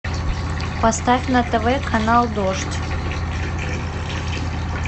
поставь на тв канал дождь